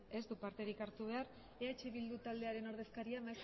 ez du parterik hartu behar eh bildu taldearen ordezkaria